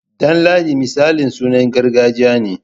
Danladi misali sunan gargajiya ne.